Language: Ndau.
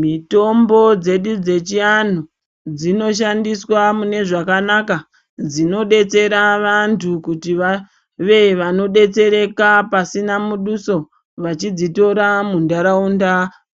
Mitombo dzedu dzechivlantu dzinoshandiswa mune zvakanaka dzinodetsera vantu kuti vave vanodetsereka pasina muduso vachidzitora muntaraunda